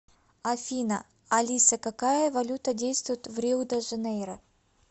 афина алиса какая валюта действует в рио де жанейро